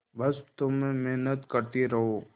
बस तुम मेहनत करती रहो